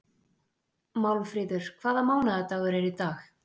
Málmfríður, hvaða mánaðardagur er í dag?